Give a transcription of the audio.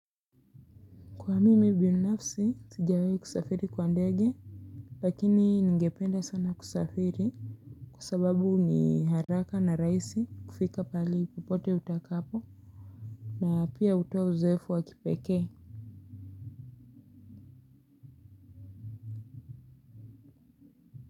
Kwa mimi binafsi sijawahi kusafiri kwa ndege lakini ningependa sana kusafiri kwa sababu ni haraka na rahisi kufika pale popote utakapo na pia hutoa uzoefu wa kipekee.